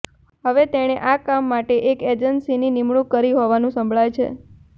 હવે તેણે આ કામ માટે એક એજન્સીની નિમણૂક કરી હોવાનું સંભળાય છે